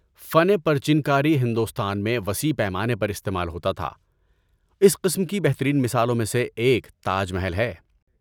فن پرچن کاری ہندوستان میں وسیر پیمانے پر استعمال ہوتا تھا۔ اس قسم کی بہترین مثالوں میں سے ایک تاج محل ہے۔